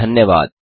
धन्यवाद